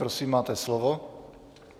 Prosím, máte slovo.